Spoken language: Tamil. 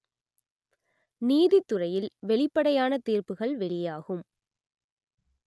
நீதித்துறையில் வெளிப்படையான தீர்ப்புகள் வெளியாகும்